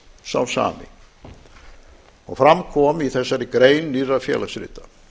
sá sami og fram kom í þessari grein nýrra félagsrita